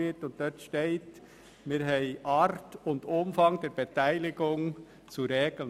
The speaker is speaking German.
Dort steht, wir hätten «Art und Umfang» von Beteiligungen zu regeln.